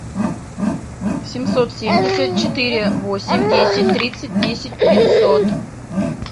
семьсот семьдесят четыре восемь десять тридцать десять пятьсот